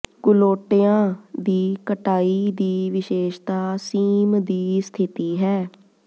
ਕੂਲੋਟਿਆਂ ਦੀ ਕਟਾਈ ਦੀ ਵਿਸ਼ੇਸ਼ਤਾ ਸੀਮ ਦੀ ਸਥਿਤੀ ਹੈ